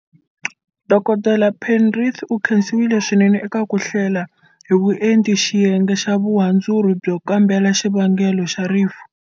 Dokodela Penrith u khensiwa swinene eka ku hlela hi vuenti xiyenge xa Vuhandzuri byo kambela xivangelo xa rifu.